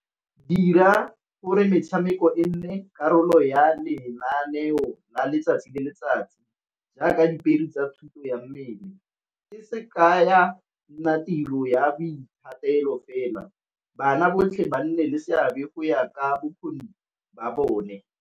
Dira gore metshameko e nne karolo ya lenaneo la letsatsi le letsatsi, jaaka tsa thuto ya mmele. Se se kaya tiro ya boithatelo fela, bana botlhe ba nne le seabe go ya ka bokgoni ba bone.